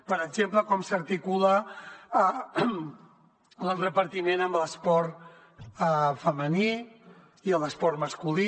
per exemple com s’articula el repartiment amb l’esport femení i l’esport masculí